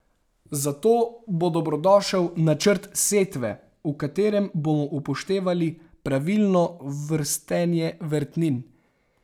Za to bo dobrodošel načrt setve, v katerem bomo upoštevali pravilno vrstenje vrtnin.